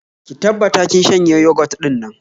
Ki tabbata kin shanye yogot din nan